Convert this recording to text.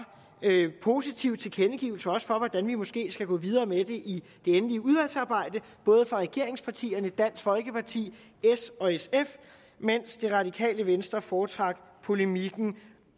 positive tilkendegivelser også hvordan vi måske skal gå videre med det i det endelige udvalgsarbejde fra både regeringspartierne dansk folkeparti s og sf mens det radikale venstre foretrak polemikken